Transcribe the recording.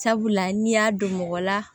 Sabula n'i y'a don mɔgɔ la